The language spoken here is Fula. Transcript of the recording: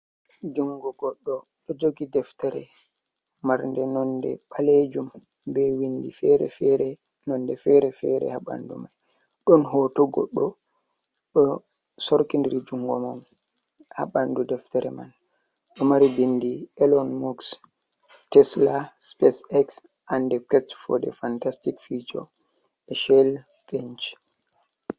Jungo goɗɗo ɗo jogi deftere, marnɗe nonde ɓalejum, be windi fere-fere, nonde fere-fere ha bandu mai, ɗon hoto goɗɗo do sorki nɗri jungo man ha bandu deftere man, ɗo mari bindi elen mux tesla spacex ande quest fo de fantastic fichor e shele venc